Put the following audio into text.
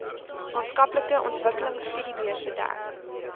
maatskaplike ontwikkelingstudiebeurse dek